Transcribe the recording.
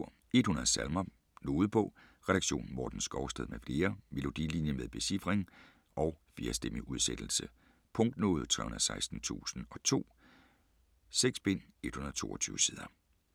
100 salmer: nodebog Redaktion: Morten Skovsted m.fl. Melodilinje med becifring og 4-stemmig udsættelse. Punktnode 316002 6 bind, 122 sider.